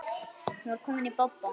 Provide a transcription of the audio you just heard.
Hún var komin í bobba.